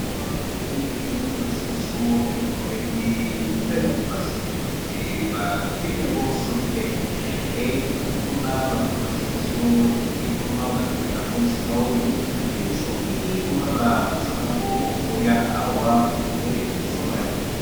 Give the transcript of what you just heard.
Awa tomoni baza ko lakisa biso eloko ba bengi fer a repasse, ba bengi yango Soni fer. Tozali komona baza ko lakisa biso elingi koloba ba tekaka yango esika oyo, soki oza na mposa nango okoya awa pe oko somba yango.